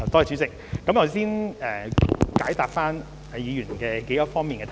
主席，我先解答議員數方面的質詢。